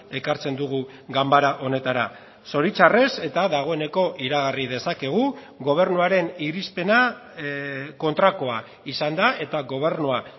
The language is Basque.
ekartzen dugu ganbara honetara zoritzarrez eta dagoeneko iragarri dezakegu gobernuaren irizpena kontrakoa izan da eta gobernua